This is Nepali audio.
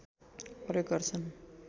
प्रयोग गर्छन्